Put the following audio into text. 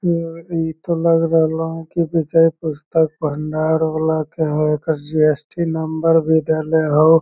ई इ तो लग रहलो की विजय पुस्तक भंडार वाला के हउ | ओकर जी.एस.टी. नंबर भी देले हउ |